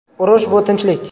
Urush – bu tinchlik”.